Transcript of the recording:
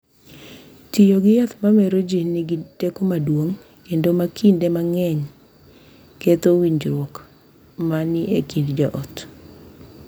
Tiyo gi yath ma mero ji nigi teko maduong’ kendo ma kinde mang’eny ketho winjruok ma ni e kind joot.